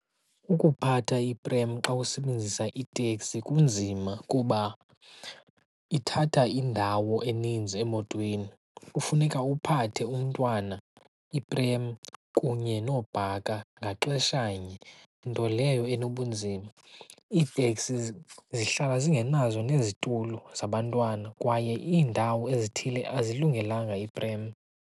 Ukuphatha iprem xa usebenzisa iteksi kunzima kuba ithatha indawo eninzi emotweni. Kufuneka uphathe umntwana, iprem kunye noobhaka ngaxesha nye, nto leyo enobunzima. Iiteksi zihlala zingenazo nezitulo zabantwana kwaye iindawo ezithile azilungelanga iprem.